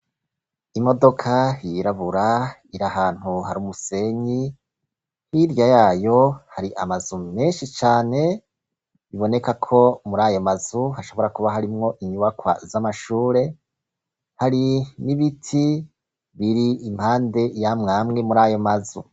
Imodoka yirabura iri ahantu har'umusenyi hirya yayo hari amazu menshi cane bibonekako mur'ayomazu hashobora kuba harimwo inyubakwa z'amashure, hari n'ibiti biri impande yamwamwe mur'ayomazu.